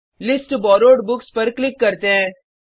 list borrowed books पर click करते हैं